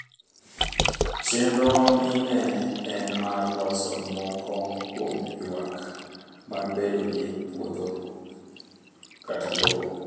Chenro ni ne en mar loso moko kuom yuak mag bedo gi puodho/lowo